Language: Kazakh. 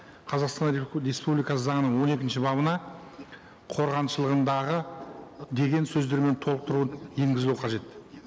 қазақстан республикасы заңының он екінші бабына қорғаншылығындағы деген сөздермен толықтыру енгізілу қажет